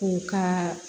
U ka